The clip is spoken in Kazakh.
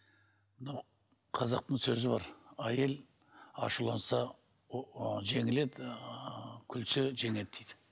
мынау қазақтың сөзі бар әйел ашуланса жеңіледі ыыы күлсе жеңеді дейді